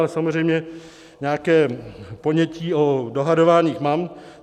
Ale samozřejmě nějaké ponětí o dohadování mám.